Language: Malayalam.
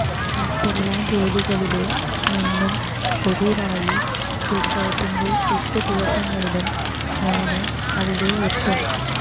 മറ്റെല്ലാ ജോലികളില് നിന്നും ഒഴിവായി ഉത്സവത്തിന്റെ എട്ടു ദിവസങ്ങളിലും ഞാന് അവിടെയെത്തും